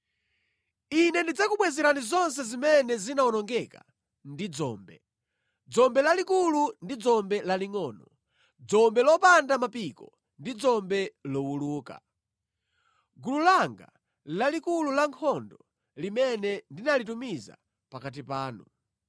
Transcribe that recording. “Ine ndidzakubwezerani zonse zimene zinawonongedwa ndi dzombe, dzombe lalikulu ndi dzombe lalingʼono, dzombe lopanda mapiko ndi dzombe lowuluka; gulu langa lalikulu la nkhondo limene ndinalitumiza pakati panu.